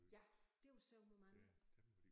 Ja det var sørme mange